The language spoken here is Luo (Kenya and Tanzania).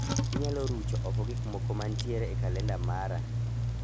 Inyalo rucho oko gik moko mantiere e kalenda mara.